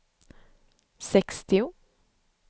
sextio